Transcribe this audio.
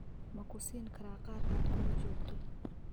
Ma ku siin karaa qaar aad kula joogto?